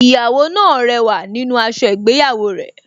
Ìyàwó náà rẹwà nínú aṣọ ìgbéyàwó rẹ̀